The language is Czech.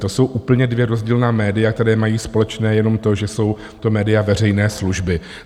To jsou úplně dvě rozdílná média, která mají společné jenom to, že jsou to média veřejné služby.